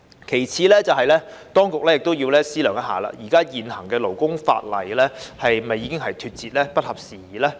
其次，當局亦要思量現行勞工法例是否已經脫節，不合時宜。